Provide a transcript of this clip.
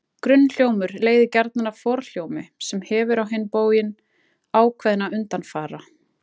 Grunnhljómur leiðir gjarnan af forhljómi, sem hefur á hinn bóginn ákveðna undanfara.